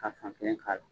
Ka fan kelen k'a la